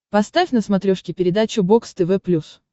поставь на смотрешке передачу бокс тв плюс